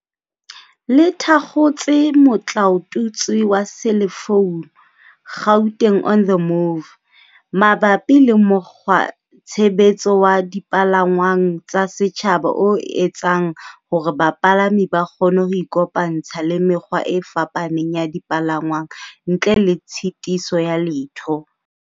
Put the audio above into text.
Le thakgotse motlaotutswe wa selefounu, Gauteng on the move, mabapi le mokgwa tshebetso wa dipalangwang tsa setjhaba o etsang hore bapalami ba kgone ho ikopantsha le mekgwa e fapaneng ya dipalangwang ntle le tshitiso ya letho.